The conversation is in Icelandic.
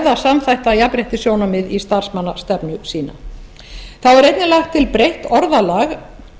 eða samþætta jafnréttissjónarmið í starfsmannastefnu sína þá er einnig lagt til breytt orðalag